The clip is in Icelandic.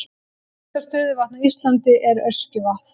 Dýpsta stöðuvatn á Íslandi er Öskjuvatn.